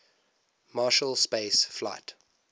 marshall space flight